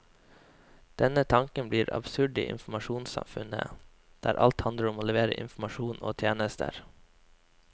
Denne tanken blir absurd i informasjonssamfunnet, der alt handler om å levere informasjon og tjenester.